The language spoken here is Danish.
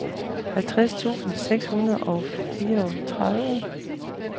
halvtreds tusind seks hundrede og fireogtredive